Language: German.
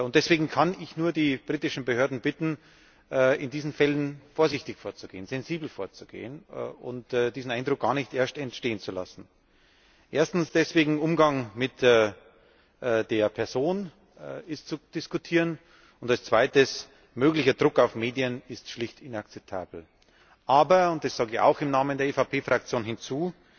Deswegen kann ich die britischen Behörden nur bitten, in diesen Fällen vorsichtig und sensibel vorzugehen und diesen Eindruck gar nicht erst entstehen zu lassen. Erstens deswegen Umgang mit der Person ist zu diskutieren, und als Zweites Möglicher Druck auf Medien ist schlicht inakzeptabel. Aber und das füge ich auch im Namen der EVP Fraktion hinzu